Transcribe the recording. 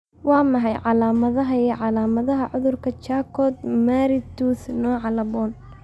Waa maxay calaamadaha iyo calaamadaha cudurka Charcot Marie Tooth nooca laaboN?